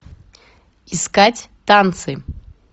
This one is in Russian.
искать танцы